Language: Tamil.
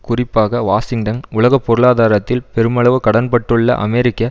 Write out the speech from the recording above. குறிப்பாக வாஷிங்டன் உலக பொருளாதாரத்தில் பெருமளவு கடன்பட்டுள்ள அமெரிக்க